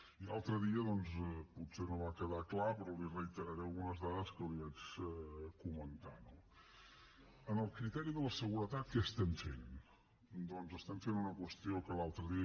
i l’altre dia doncs potser no va quedar clar però li reiteraré algunes dades que li vaig comentar no en el criteri de la seguretat què estem fent doncs estem fent una qüestió que l’altre dia